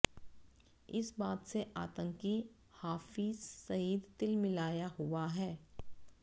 इस बात से आतंकी हाफ़िज़ सईद तिलमिलाया हुआ है